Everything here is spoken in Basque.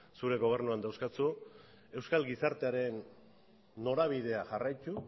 zure gobernuan dauzkazu euskal gizartearen norabidea jarraitu